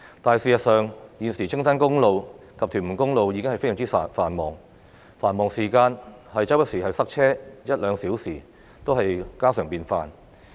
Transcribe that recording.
但事實上，現時青山公路及屯門公路的交通已經非常繁忙，繁忙時間塞車一兩小時也是家常便飯。